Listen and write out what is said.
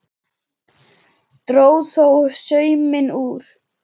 Dró þó sauminn úr.